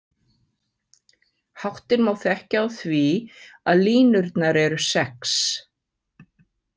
Háttinn má þekkja á því að línurnar eru sex.